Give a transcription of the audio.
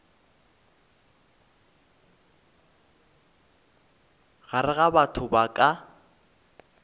gare ga batho ba ka